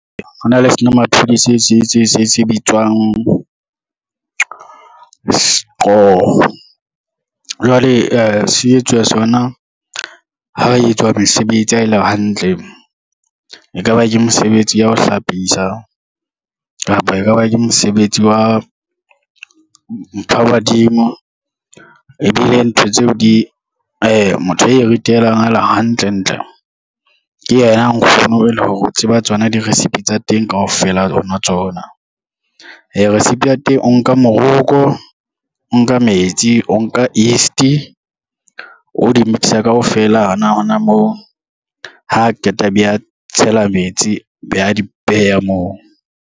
Ho na le senomaphodi se bitswang sqo, jwale se etswa sona ha o etswa mesebetsi ha e le hantle, e ka ba ke mosebetsi ya ho hlapisa, kapa e ka ba ke mosebetsi wa mpha badimo. Motho a e ritelang a le hantle ntle ke yena nkgono e le hore o tseba tsona diresipe tsa teng kaofela tsona. Resipe ya teng o nka moroko, o nka metsi, o nka yeast o di-mixer kaofela hona hona moo, ha qeta a be a tshela metsi be a di beha moo.